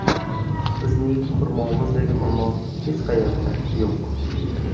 Bizning xurmomizdek xurmo hech qayerda yo‘q.